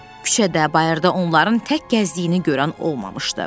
Küçədə, bayırda onların tək gəzdiyini görən olmamışdı.